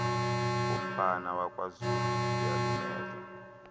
komfana wakwazulu iyalumeza